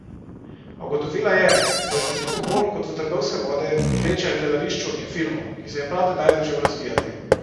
A ugotovila je, da jo veliko bolj kot v trgovske vode vleče h gledališču in filmu, ki se je prav tedaj začel razvijati.